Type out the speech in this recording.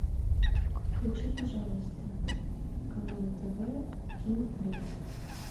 включи пожалуйста канал тв кино плюс